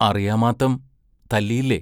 അറിയാമ്മാത്തം തല്ലിയില്ലേ?